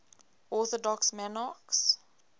orthodox monarchs